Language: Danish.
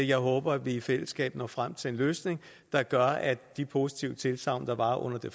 jeg håber at vi i fællesskab når frem til en løsning der gør at de positive tilsagn der var under det